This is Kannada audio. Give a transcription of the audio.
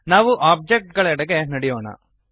ನಾವು ಒಬ್ಜೆಕ್ಟ್ ಗಳೆಡೆಗೆ ನಡೆಯೋಣ